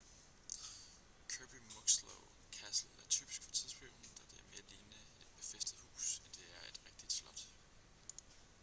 kirby muxloe castle er typisk for tidsperioden da det er mere lignende et befæstet hus end det er et rigtigt slot